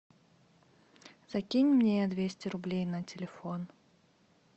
закинь мне двести рублей на телефон